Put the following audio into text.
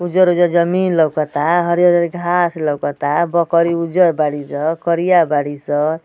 उजर-उजर जमीन लउकता हरियर-हरियर घास लउकता। बकरी उजर बाड़ी ज करिया बाड़ी स।